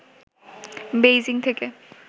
Beijing থেকে